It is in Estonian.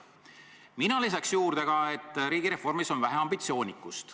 " Mina lisaks juurde ka, et riigireformis on vähe ambitsioonikust.